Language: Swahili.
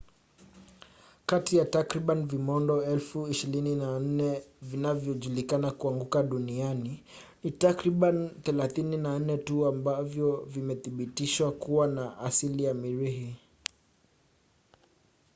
kati ya takriban vimondo 24,000 vinavyojulikana kuanguka duniani ni takribani 34 tu ambavyo vimethibitishwa kuwa na asili ya mirihi